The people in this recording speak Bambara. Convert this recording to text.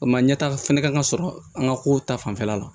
O ma ɲɛ ta fɛnɛ ka sɔrɔ an ka ko ta fanfɛla la